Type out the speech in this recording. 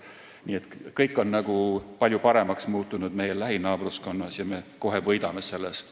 Nii et kõik on palju paremaks muutunud meie lähinaabruskonnas ja meie kohe võidame sellest.